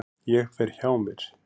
Ég fer hjá mér.